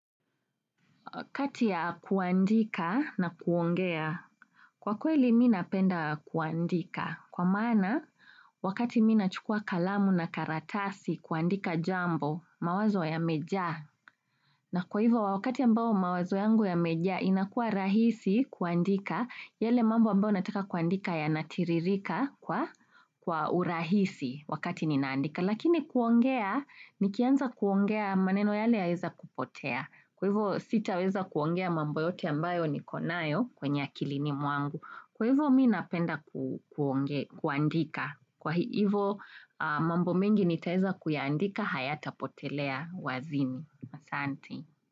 Wakati ya kuandika na kuongea, kwa kweli mimi napenda kuandika, kwa maana wakati mimi nachukua kalamu na karatasi kuandika jambo, mawazo yamejaa. Na kwa hivyo wakati ambao mawazo yangu yamejaa inakua rahisi kuandika, yale mambo ambayo nataka kuandika yanatiririka kwa urahisi wakati ninaandika. Lakini kuongea, nikianza kuongea maneno yale yaeza kupotea. Kwa hivyo sitaweza kuongea mambo yote ambayo niko nayo kwenye akilini mwangu. Kwa hivyo mimi napenda kuandika. Kwa hivyo, mambo mengi nitaweza kuyaandika hayatapotelea wazini. Asante.